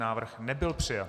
Návrh nebyl přijat.